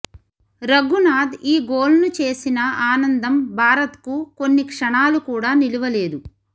రఘునాథ్ ఈ గోల్ను చేసిన ఆనందం భారత్కు కొన్ని క్షణాలు కూడా నిలవలేదు